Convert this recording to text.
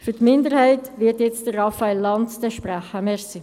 Für die FiKo-Minderheit wird jetzt Raphael Lanz sprechen.